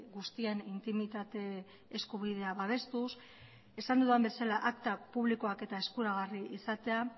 guztien intimitate eskubidea babestuz esan dudan bezala akta publikoak eta eskuragarri izatea